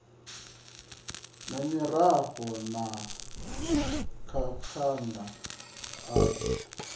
na miroho na makanda ayo